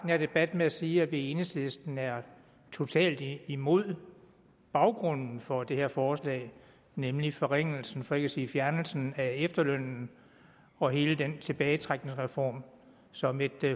her debat med at sige at vi i enhedslisten er totalt imod baggrunden for det her forslag nemlig forringelsen for ikke at sige fjernelsen af efterlønnen og hele den tilbagetrækningsreform som et